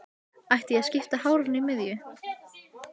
Ætti ég að skipta hárinu í miðju?